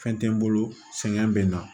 Fɛn tɛ n bolo sɛgɛn bɛ na